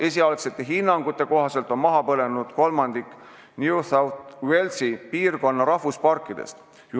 Esialgsete hinnangute kohaselt on maha põlenud kolmandik New South Walesi osariigi rahvusparkide puudest.